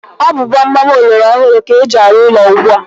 Ọ bụ gbam gbam ọlọrọ hụrụ ka eji arụ ụlọ ugbu a.